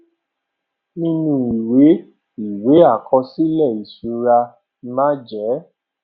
nínú ìwé x ìwé àkọsílè ìṣura màa jé